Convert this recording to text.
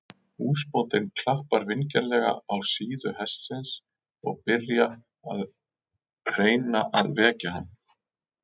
Húsbóndinn klappar vingjarnlega á síðu hestsins og byrja að reyna að vekja hann.